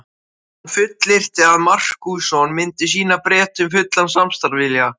Hann fullyrti að Markússon myndi sýna Bretum fullan samstarfsvilja.